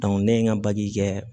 ne ye n ka kɛ